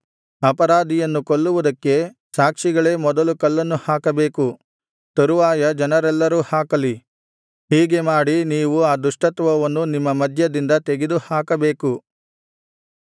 ಅಪರಾಧಿಯನ್ನು ಕೊಲ್ಲುವುದಕ್ಕೆ ಸಾಕ್ಷಿಗಳೇ ಮೊದಲು ಕಲ್ಲನ್ನು ಹಾಕಬೇಕು ತರುವಾಯ ಜನರೆಲ್ಲರೂ ಹಾಕಲಿ ಹೀಗೆ ಮಾಡಿ ನೀವು ಆ ದುಷ್ಟತ್ವವನ್ನು ನಿಮ್ಮ ಮಧ್ಯದಿಂದ ತೆಗೆದುಹಾಕಬೇಕು